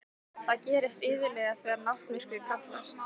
Það gerist iðulega þegar náttmyrkrið kallar.